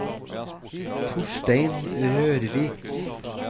Torstein Rørvik